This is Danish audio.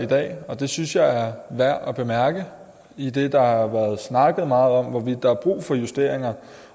dag og det synes jeg er værd at bemærke idet der har været snakket meget om hvorvidt der er brug for justeringer